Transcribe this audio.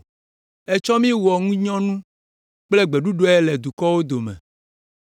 Ètsɔ mí wɔ ŋunyɔnu kple gbeɖuɖɔe le dukɔwo dome.